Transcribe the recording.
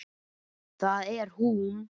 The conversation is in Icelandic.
Það er hún!